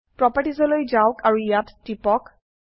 properties লৈ যাওক আৰু ইয়াত টিপক